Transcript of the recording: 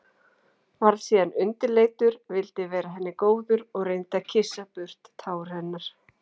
Varð síðan undirleitur, vildi vera henni góður og reyndi að kyssa burt tár hennar.